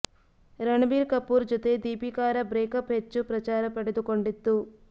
ರಣಬೀರ್ ಕಪೂರ್ ಜೊತೆ ದೀಪಿಕಾರ ಬ್ರೇಕಪ್ ಹೆಚ್ಚು ಪ್ರಚಾರ ಪಡೆದು ಕೊಂಡಿತ್ತು